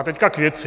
A teď k věci.